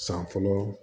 San fɔlɔ